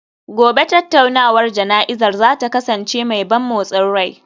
Gobe ​​tattaunawar jana'izar za ta kasance mai ban motsin rai